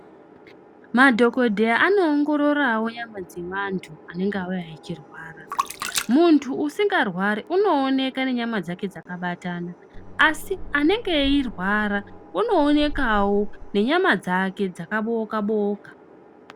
Madhokodheya anoongororawo nyama dzevanhu vanenge vauya vachirwara. Munhu usikarwari unooneka ngenyama dzake dzakabatana asi anenge eirwara unoonekawo nenyama dzake dzakabooka booka.